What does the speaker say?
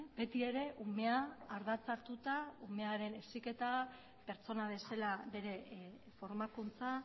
beti ere umea ardatza hartuta umearen heziketa pertsona bezala bere formakuntza